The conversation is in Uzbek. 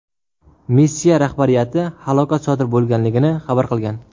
Missiya rahbariyati halokat sodir bo‘lganligini xabar qilgan.